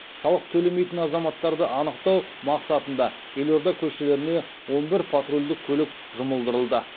салық төлемейтін азаматтарды анықтау мақсатында елорда көшелеріне он бір патрульдік көлік жұмылдырылды